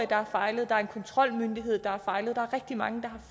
der har fejlet der er en kontrolmyndighed der har fejlet der er rigtig mange der har